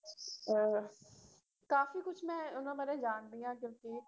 ਅਹ ਕਾਫ਼ੀ ਕੁਛ ਮੈਂ ਉਹਨਾਂ ਬਾਰੇ ਜਾਣਦੀ ਹਾਂ ਕਿਉਂਕਿ